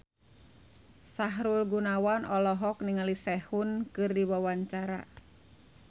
Sahrul Gunawan olohok ningali Sehun keur diwawancara